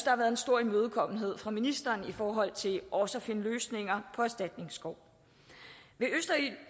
har været en stor imødekommenhed fra ministeren i forhold til også at finde løsninger på erstatningskov ved østerild